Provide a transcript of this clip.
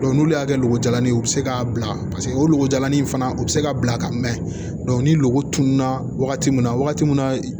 n'olu y'a kɛ lojalanin ye u bɛ se k'a bila paseke o golojanin fana u bɛ se ka bila ka mɛn ni lɔgɔ tunun na wagati min na wagati min na